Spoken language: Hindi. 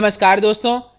नमस्कार दोस्तों